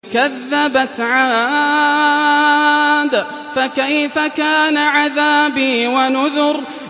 كَذَّبَتْ عَادٌ فَكَيْفَ كَانَ عَذَابِي وَنُذُرِ